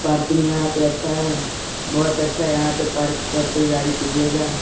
पार्किंग यहाँ पे अच्छा है बहोत अच्छा यहाँ पे पार्क सब कोई गाड़ी कीजियेगा।